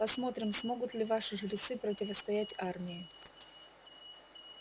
посмотрим смогут ли ваши жрецы противостоять армии